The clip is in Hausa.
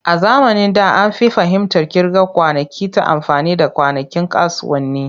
A zamanin da, an fi fahimtar kirga kwanakin ta amfani da kwanakin kasuwanni.